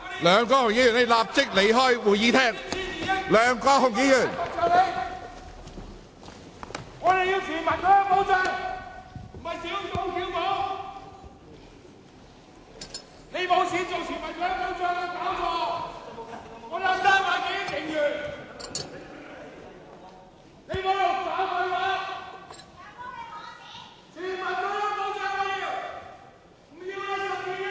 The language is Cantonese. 梁國雄議員，立即離開會議廳。